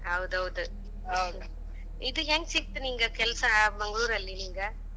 ಹೌದೌದ. ಇದ್ ಹೆಂಗ್ ಸಿಕ್ತ ಕೆಲಸ ನಿಂಗ್ ಮಂಗಳೂರಲ್ಲಿ ನಿನಗ.